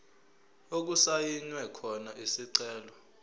okusayinwe khona isicelo